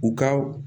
U ka